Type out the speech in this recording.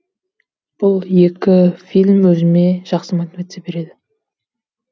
бұл екі фильм өзіме жақсы мотивация береді